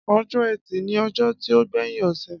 Ọjọ ẹtì ni ọjọ ti o gbẹyin ose.